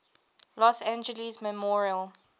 los angeles memorial